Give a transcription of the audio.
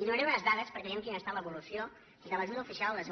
i donaré unes dades per què ve gem quina ha estat l’evolució de l’ajuda oficial al des